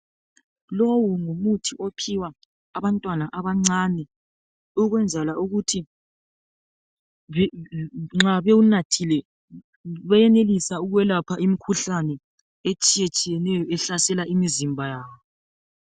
Lowu ngumuthi ophiwa abantwana abancane ukwenzela ukuthi nxa bewunathile benelisa ukwelapha imikhuhlane etshiyetshiyeneyo ehlasela imizimba yabo